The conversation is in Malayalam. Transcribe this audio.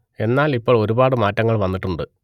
എന്നാൽ ഇപ്പോൾ ഒരുപാട് മാറ്റങ്ങൾ വന്നിട്ടുണ്ട്